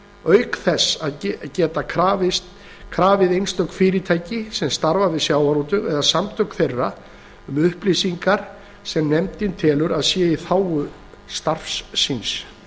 auk þess að geta krafið einstök fyrirtæki sem starfa við sjávarútveg eða samtök þeirra um upplýsingar sem nefndin telur að séu í þágu starfs síns